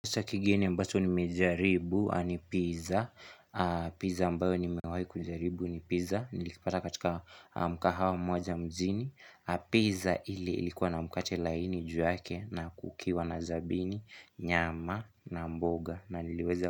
Pisa kigeni ambacho nimejaribu a ni pizza Pizza ambayo nimewahi kujaribu ni pizza Nilikipata katika mkahawa moja mjini Pizza ile ilikuwa na mkate laini ju yake na kukiwa na zabini, nyama na mboga na liweza.